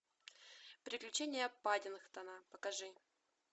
приключения паддингтона покажи